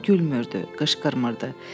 O gülmürdü, qışqırmırdı.